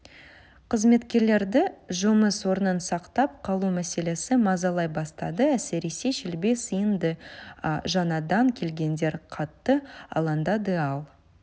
қызметкерлерді жұмыс орнын сақтап қалу мәселесі мазалай бастады әсіресе шелби сынды жаңадан келгендер қатты алаңдады ал